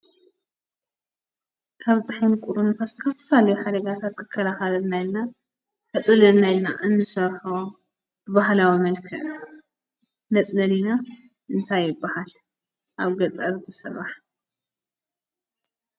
ካብ ፀሓይ ቁርን ንፋስ ካብ ዝተፈላለዩ ሓደጋታት ክከላኸለልና ኢልና ከፅልለልና ኢልና እንሰርሖ ብባህላዊ መልክዕ መፅለሊና እንታይ ይባሃል ኣብ ገጠር ዝስራሕ?